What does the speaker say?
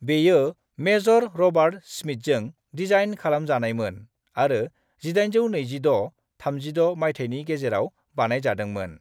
बेयो major Robert स्मिथजों design खालामजानायमोन आरो 1826-36 मायथायनि गेजेराव बानायजादोंमोन।